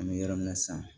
An bɛ yɔrɔ min na sisan